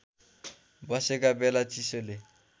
बसेका बेला चिसोले